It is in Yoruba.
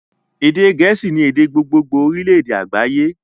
Èdè gẹ̀ẹ́sì ni èdè gbogbogbo orílédé àgbáyé